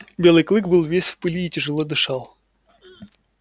белый клык был весь в пыли и тяжело дышал